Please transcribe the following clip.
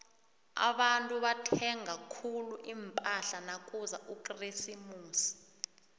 abantu bathenga khulu impahla nakuza ukresimusi